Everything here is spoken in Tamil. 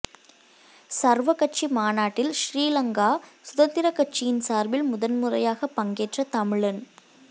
சர்வகட்சி மாநாட்டில் சிறீலங்கா சுதந்திரக் கட்சியின் சார்பில் முதன்முறையாகப் பங்கேற்ற தமிழன்